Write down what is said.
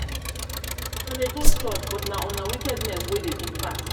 una dey go church um but na una wickedness um wey wey dey big um pass